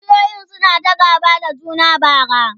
kishiyoyin suna ta gaba da juna bara